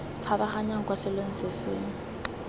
kgabaganyang kwa selong se se